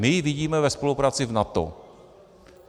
My ji vidíme ve spolupráci v NATO.